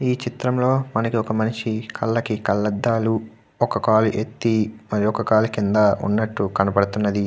ఈ చిత్రం లో మనకి ఒక మనిషి కళ్ళకి కళ్ళద్దాలు ఒక కాలు ఎత్తి మరి ఒక కాలు కింద ఉన్నటు కనబడుతున్నది.